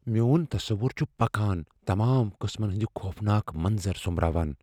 میون تصوٗر چھٗ پكان ، تمام قٕسمن ہندِ خوفناك منظر سومبراوان ۔